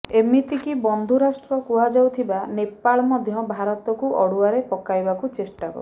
ଏମିତିକି ବନ୍ଧୁ ରାଷ୍ଟ୍ର କୁହାଯାଉଥିବା ନେପାଳ ମଧ୍ୟ ଭାରତକୁ ଅଡ଼ୁଆରେ ପକାଇବାକୁ ଚେଷ୍ଟା